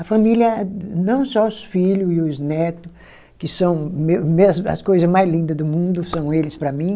A família, não só os filho e os neto, que são as coisas meu meus as coisa mais linda do mundo, são eles para mim,